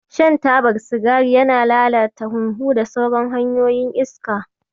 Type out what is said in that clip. Shan tabar sigari yana lalata hunhu da sauran hanyoyin iska.